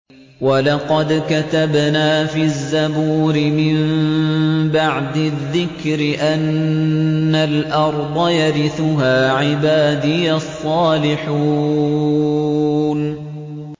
وَلَقَدْ كَتَبْنَا فِي الزَّبُورِ مِن بَعْدِ الذِّكْرِ أَنَّ الْأَرْضَ يَرِثُهَا عِبَادِيَ الصَّالِحُونَ